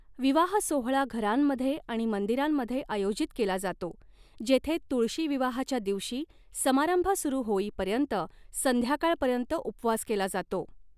विवाह सोहळा घरांमध्ये आणि मंदिरांमध्ये आयोजित केला जातो जेथे तुळशी विवाहाच्या दिवशी समारंभ सुरू होईपर्यंत संध्याकाळपर्यंत उपवास केला जातो.